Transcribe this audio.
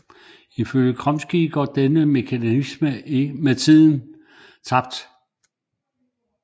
Ifølge Chomsky går denne mekanisme med tiden tabt